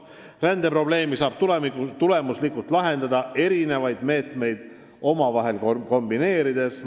" Rändeprobleemi saab tulemuslikult lahendada erinevaid meetmeid omavahel kombineerides.